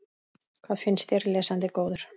Hvað finnst þér, lesandi góður?